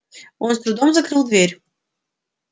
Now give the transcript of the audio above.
он с трудом закрыл дверь